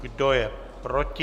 Kdo je proti?